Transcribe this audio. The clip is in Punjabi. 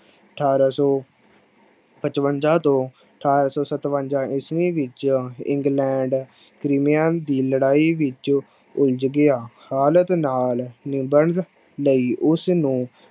ਅਠਾਰਾਂ ਸੌ ਪਚਵੰਜਾ ਤੋਂ ਅਠਾਰਾਂ ਸੌ ਸਤਵੰਜਾ ਈਸਵੀ ਵਿੱਚ ਇੰਗਲੈਂਡ ਦੀ ਲੜਾਈ ਵਿੱਚ ਉਲਝ ਗਿਆ, ਹਾਲਾਤ ਨਾਲ ਨਿਬੜਨ ਲਈ ਉਸਨੂੰ